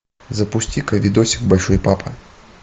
запусти ка видосик большой папа